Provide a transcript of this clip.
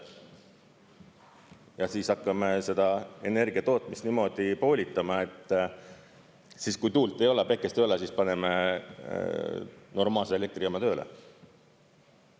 Ja siis hakkame seda energiatootmist niimoodi poolitama, et siis, kui tuult ei ole, päikest ei ole, paneme normaalse elektrijaama tööle.